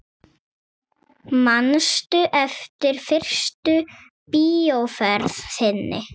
Manstu eftir fyrstu bíóferð þinni?